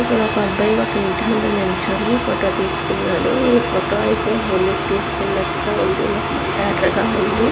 ఇక్కడొక అబ్బాయి ఒక్క ఇంటి ముందు నించొని ఫోటో తీసుకున్నాడు ఈఫోటో అయితే హోలికి తీసుకున్నటుగా ఉంది మొహమంతా ఎర్రగా ఉంది.